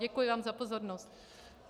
Děkuji vám za pozornost.